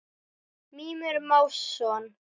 Mímir Másson.